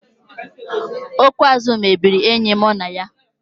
Okwu azụ mebiri enyi mụ na ya